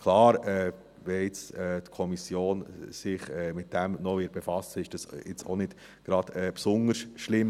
Klar, wenn sich jetzt die Kommission noch mit dem befassen wird, ist das jetzt auch nicht gerade besonders schlimm.